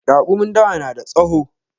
Raƙumin dawa na da tsawo